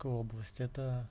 область